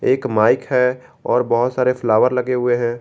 एक माइक है और बहुत सारे फ्लावर लगे हुए हैं।